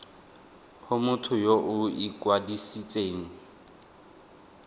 go motho yo o ikwadisitseng